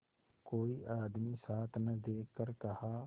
कोई आदमी साथ न देखकर कहा